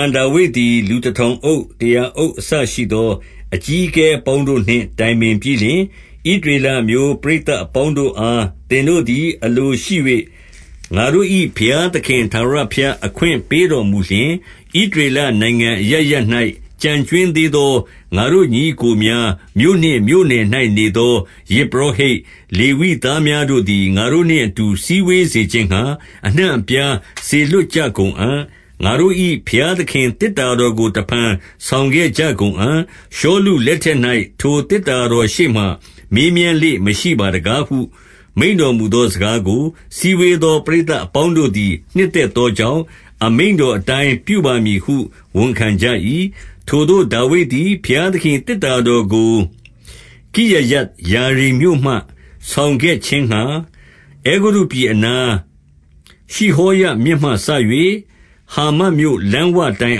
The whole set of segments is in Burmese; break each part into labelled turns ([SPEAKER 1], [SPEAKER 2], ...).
[SPEAKER 1] န်ဒါဝိဒ်သည် လူတထောင်အုပ်၊ တရာအုပ် အစရှိသော အကြီးအကဲအပေါင်းတို့နှင့် တိုင်ပင်ပြီးလျှင်၊ 2 ဣသရေလအမျိုး ပရိသတ်အပေါင်းတို့အား၊ သင်တို့သည် အလိုရှိ၍ ငါတို့၏ဘုရားသခင်ထာဝရဘုရား အခွင့်ပေးတော်မူလျှင်၊ ဣသရေလနိုင်ငံအရပ်ရပ်၌ ကျန်ကြွင်းသေးသော ငါတို့ညီအစ်ကိုများ၊ မြို့နှင့်မြို့နယ်၌ နေသော ယဇ်ပုရောဟိတ်၊ လေဝိသားများတို့သည် ငါတို့ နှင့်အတူ စည်းဝေးစေခြင်းငှါ အနှံ့အပြားစေလွှတ်ကြ ကုန်အံ့။ 3 ငါတို့၏ဘုရားသခင် သေတ္တာတော်ကို တဖန် ဆောင်ခဲ့ကြကုန်အံ့။ ရှောလုလက်ထက်၌ ထိုသေတ္တာ တော်ရှေ့မှာ မေးမြန်းလေ့မရှိပါတကားဟု မိန့်တော်မူ သောစကားကို၊ 4 စည်းဝေးသော ပရိသတ်အပေါင်းတို့သည် နှစ်သက်သောကြောင့်၊ အမိန့်တော်အတိုင်းပြုပါမည်ဟု ဝန်ခံကြ၏။ 5 ထိုသို့ဒါဝိဒ်သည် ဘုရားသခင်၏ သေတ္တာတော် ကို၊ ကိရယတ်ယာရိမ်မြို့မှ ဆောင်ခဲ့ခြင်းငှါ အဲဂုတ္တုပြည် အနား၊ ရှိဟောရမြစ်မှစ၍ ဟာမတ်မြို့လမ်းဝတိုင်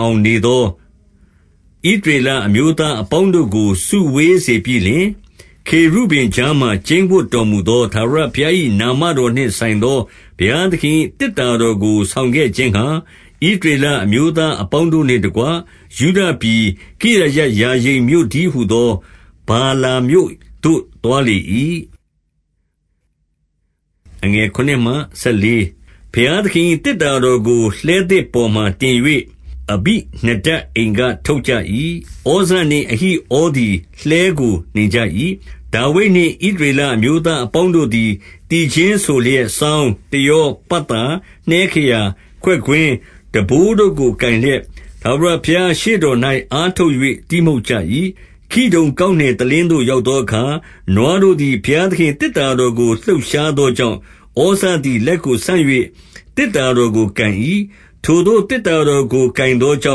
[SPEAKER 1] အောင် နေသောဣသရေလ အမျိုးသားအပေါင်းတို့ကို စုဝေး စေပြီးလျှင်၊ 6 ခေရုဗိမ်ကြားမှာ ကျိန်းဝပ်တော်မူသော ထာဝရ ဘုရား၏နာမတော်နှင့်ဆိုင်သော ဘုရားသခင်၏ သေတ္တာတော်ကို ဆောင်ခဲ့ခြင်းငှါ၊ ဣသရေလ အမျိုးသား အပေါင်းတို့နှင့်တကွ၊ ယုဒပြည်ကိရယတ်ယာရိမ် မြို့တည်းဟူသော ဗာလာမြို့သို့ သွားလေ၏။ 7 ဘုရားသခင်၏ သေတ္တာတော်ကို လှည်းသစ် ပေါ်မှာတင်၍ အဘိနဒပ်အိမ်ထဲက ထုတ်ကြ၏။ ဩဇနှင့်အဟိဩသည်လှည်းကို နှင်ကြ၏။ 8 ဒါဝိဒ်နှင့် ဣသရေလအမျိုးသားအပေါင်းတို့ သည် သီချင်းဆို လျက်စောင်း၊ တယော၊ ပတ်သာ၊ နှဲခရာ၊ ခွက်ကွင်း၊ တံပိုးတို့ကို ကိုင်လျက် ထာဝရဘုရားရှေ့တော်၌ အားထုတ်၍ တီးမှုတ်ကြ၏။ 9 ခိဒုန်ကောက်နယ်တလင်းသို့ ရောက်သောအခါ၊ နွားတို့သည် ဘုရားသခင်၏ သေတ္တာတော်ကို လှုပ်ရှား သောကြောင့်၊ ဩဇသည် လက်ကိုဆန့်၍ သေတ္တာတော် ကို ကိုင်၏။ 10 ထိုသို့သေတ္တာတော်ကို ကိုင်သောကြော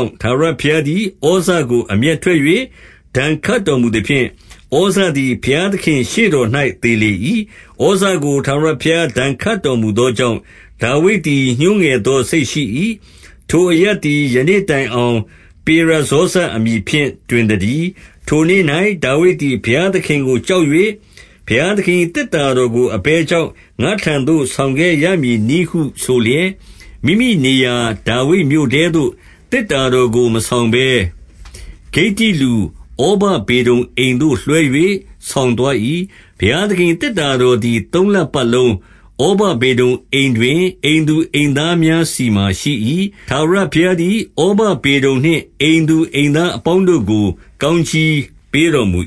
[SPEAKER 1] င့်၊ ထာဝရဘုရားသည် ဩဇကို အမျက်ထွက်၍၊ ဒဏ်ခတ် တော်မူသဖြင့်၊ ဩဇသည် ဘုရားသခင်ရှေ့တော်၌ သေလေ၏။ 11 ဩဇကိုထာဝရဘုရား ဒဏ်ခတ်တော်မူသော ကြောင့် ဒါဝိဒ်သည် ညှိုးငယ်သောစိတ်ရှိ၏။ ထိုအရပ် သည် ယနေ့တိုင်အောင် ပေရဇောဇအမည်ဖြင့် တွင် သတည်း။ 12 ထိုနေ့၌ဒါဝိဒ်သည် ဘုရားသခင်ကို ကြောက်၍၊ ဘုရားသခင်၏ သေတ္တာတော်ကို အဘယ်ကြောင့် ငါ့ထံသို့ ဆောင်ခဲ့ရမည်နည်းဟုဆိုလျက်၊ 13 မိမိနေရာဒါဝိဒ်မြို့ထဲသို့ သေတ္တာတော်ကို မဆောင်ဘဲ ဂိတ္တိလူဩဗဒေဒုံအိမ်သို့ လွှဲ၍ ဆောင်သွား လေ၏။ 14 ဘုရားသခင်၏သေတ္တာတော်သည် သုံးလ ပတ်လုံး၊ ဩဗေဒုံအိမ်တွင် အိမ်သူအိမ်သားများဆီမှာ ရှိ၏။ ထာဝရဘုရားသည် ဩဗဒေဒုံနှင့် အိမ်သူအိမ်သား အပေါင်းတို့ကို ကောင်းကြီးပေးတော်မူ